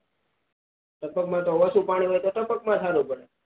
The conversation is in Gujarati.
ટપક માં તો ઓછુ પાણી હોય તો ટપક માં જ સારું પડે